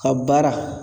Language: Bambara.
Ka baara